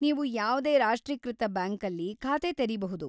ನೀವು ಯಾವ್ದೇ ರಾಷ್ಟ್ರೀಕೃತ ಬ್ಯಾಂಕಲ್ಲಿ ಖಾತೆ ತೆರೀಬಹುದು.